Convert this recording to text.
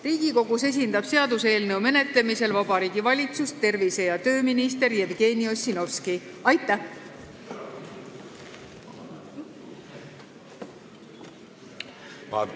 Riigikogus esindab seaduseelnõu menetlemisel Vabariigi Valitsust tervise- ja tööminister Jevgeni Ossinovski.